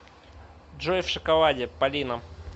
джой в шоколаде полина